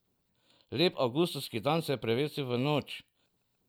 Lep avgustovski dan se je prevesil v noč.